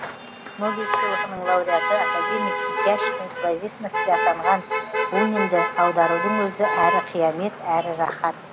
нобель сыйлығының лауреаты академик изящной словесности атанған бунинді аударудың өзі әрі қиямет әрі рахат